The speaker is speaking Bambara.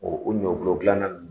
o ɲɔgulɔ dilanna ninnu